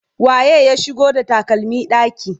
waye ya shigo da takalmi ɗaki?